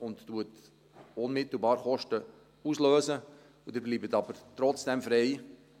Dieser löst unmittelbar Kosten aus, aber Sie bleiben trotzdem frei.